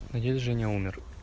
а дед женя умер